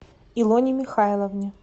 илоне михайловне